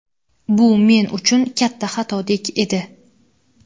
Bu men uchun katta xatodek edi.